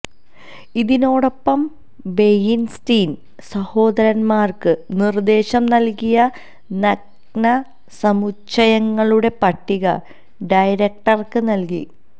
ഇതിനോടൊപ്പം വെയിൻസ്റ്റീൻ സഹോദരന്മാർക്ക് നിർദ്ദേശം നൽകിയ നഗ്നസമുച്ചയങ്ങളുടെ പട്ടിക ഡയറക്ടർക്ക് നൽകി